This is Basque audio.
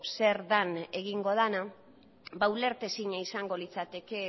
zer den egingo dena ba ulertezina izango litzateke